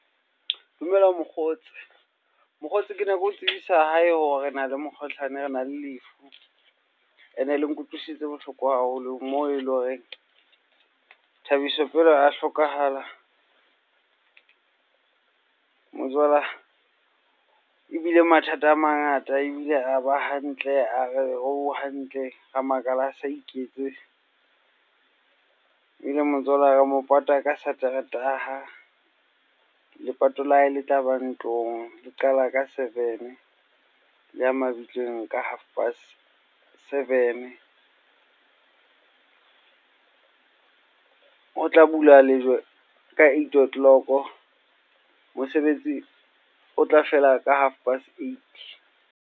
Dumela Mokgotsi. Mokgotsi, kene ke o tsebisa hae hore na le mokgohlane, rena le lefu. Ene le nkutlwisitse bohloko haholo moo ele horeng, Thabiso pele a hlokahala ebile mathata a mangata. Ebile a ba hantle, a re o hantle. Ra makala a sa iketse, ebile re mo pata ka Sateretaha. Lepato le tlaba ntlong, le qala ka seven le ya mabitleng ka half past seven. Ho tla bula lejwe ka eight o' clock, mosebetsi o tla fela ka half past eight.